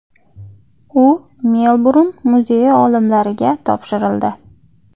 U Melburn muzeyi olimlariga topshirildi.